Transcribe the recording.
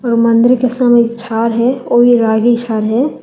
और मंदिर के सामने एक झाड़ है और ये रागी झाड़ है।